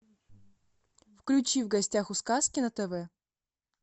включи в гостях у сказки на тв